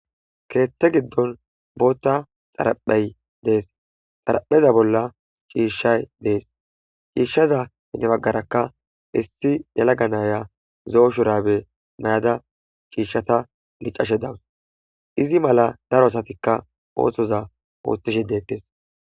Keththe giddon boththa xaraphey dees xarapheza bolla cishshay dees cishshaza gedde baggaraka issi yelagga naya zo'o shurabbe mayada cishata liccashe dawus izi mala daro asatika oththoza oththishe dettes.